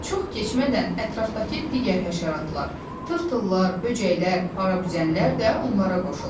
Çox keçmədən ətrafdakı digər həşəratlar, tırtıllar, böcəklər, parabüzənlər də onlara qoşuldu.